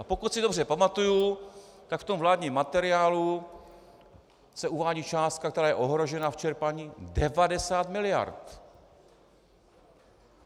A pokud si dobře pamatuji, tak v tom vládním materiálu se uvádí částka, která je ohrožena v čerpání, 90 miliard.